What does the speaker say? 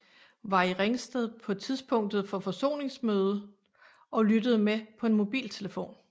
Var i Ringsted på tidspunktet for forsoningsmødet og lyttede med på en mobiltelefon